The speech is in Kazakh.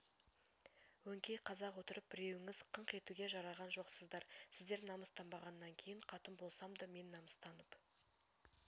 өңкей қазақ отырып біреуіңіз қыңқ етуге жараған жоқсыздар сіздер намыстанбағаннан кейін қатын болсам да мен намыстанып